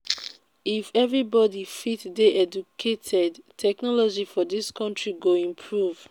if everybody fit dey educated technology for dis country go improve